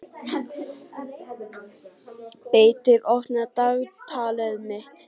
Beitir, opnaðu dagatalið mitt.